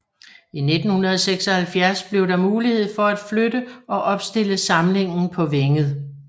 I 1976 blev der mulighed for at flytte og opstille samlingen på Vænget